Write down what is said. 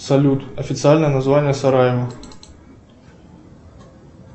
салют официальное название сараево